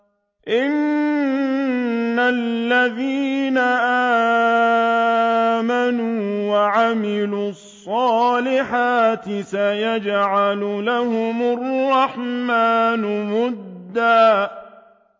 إِنَّ الَّذِينَ آمَنُوا وَعَمِلُوا الصَّالِحَاتِ سَيَجْعَلُ لَهُمُ الرَّحْمَٰنُ وُدًّا